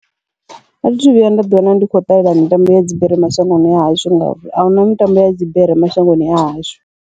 Athi thu vhuya nda ḓi wana ndi khou ṱalela mitambo ya dzibere mashangoni a hashu, ngauri ahuna mitambo ya dzibere mashangoni a hashu.